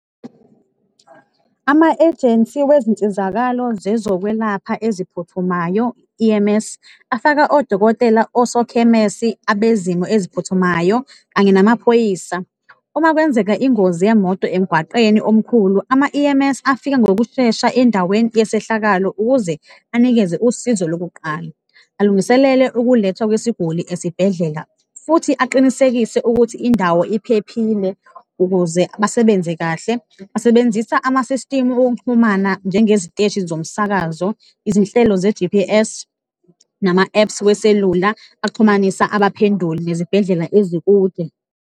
Ama-ejensi wezinsizakalo zezokwelapha eziphuthumayo, i-E_M_S, afaka odokotela, osokhemesi, abezimo eziphuthumayo kanye namaphoyisa. Uma kwenzeka ingozi yemoto emgwaqeni omkhulu, ama-E_M_S afika ngokushesha endaweni yesehlakalo ukuze anikeze usizo lokuqala, alungiselele ukulethwa kwesiguli esibhedlela futhi aqinisekise ukuthi indawo iphephile ukuze basebenze kahle. Basebenzisa ama-system okuxhumana njengeziteshi zomsakazo, izinhlelo ze-G_P_S nama-apps weselula, axhumanisa abaphenduli nezibhedlela ezikude.